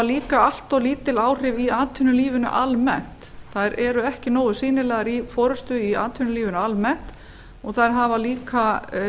líka allt of lítil áhrif í atvinnulífinu almennt þær eru ekki nógu sýnilegar í forustu í atvinnulífinu almennt og þær hafa líka